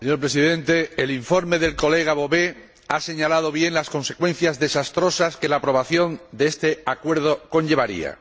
Señor Presidente, el informe de nuestro colega Bové ha señalado bien las consecuencias desastrosas que la aprobación de este acuerdo conllevaría.